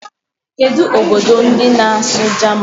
Kedu obodo ndi na-asu German?